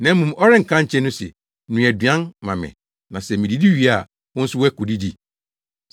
Na mmom ɔrenka nkyerɛ no se, ‘Noa aduan ma me na sɛ mididi wie a, wo nso woakodidi?’